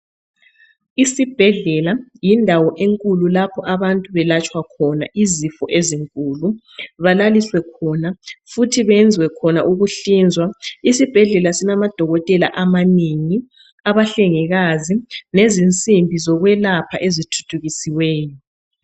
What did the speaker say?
Esibhedlela yindawo enkulu lapho abantu belatsha khona izifo ezinkuku, balaliswe khona, futhi bayenze khona ukuhlinzwa. Esibhedlela kulamadokotela abanengi, abahlengekazi lezisimbi zikwelapha ezithuthukisiweyo.